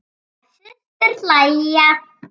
Þær systur hlæja.